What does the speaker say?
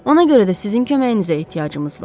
Ona görə də sizin köməyinizə ehtiyacımız var.